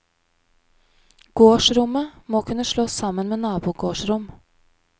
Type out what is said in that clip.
Gårdsrommet må kunne slås sammen med nabogårdsrom.